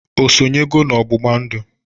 O sonyego n'ọgbụgba ndụ?